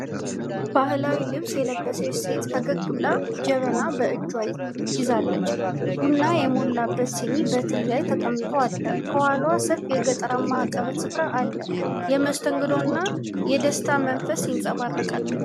ባህላዊ ልብስ የለበሰች ሴት ፈገግ ብላ ጀበና በእጇ ይዛለች። ቡና የሞላበት ሲኒ በትሪ ላይ ተቀምጦ አለ፣ ከኋላዋ ሰፊ የገጠራማ አቀበት ስፍራ አለ። የመስተንግዶና የደስታ መንፈስ ይንጸባረቃል።